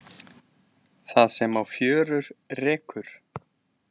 Það sem á fjörur rekur